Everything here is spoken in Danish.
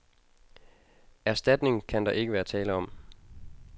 Erstatning kan der ikke være tale om.